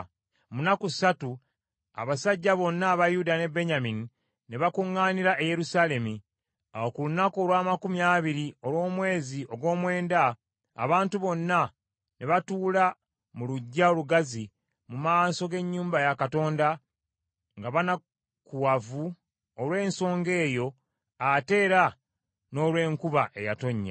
Mu nnaku ssatu, abasajja bonna aba Yuda ne Benyamini ne bakuŋŋaanira e Yerusaalemi. Awo ku lunaku olw’amakumi abiri olw’omwezi ogw’omwenda abantu bonna ne batuula mu luggya olugazi mu maaso g’ennyumba ya Katonda nga banakuwavu olw’ensonga eyo ate era n’olw’enkuba eyatonnya.